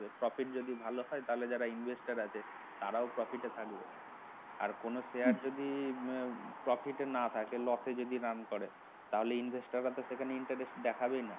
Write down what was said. profit যদি ভাল হয় তাহলে যারা investor আছে তারাও profit এ থাকবে আর কোন share যদি profit এ না থাকে loss এ যদি run করে তাহলে investor রা তো সেখানে interest দেখাবে না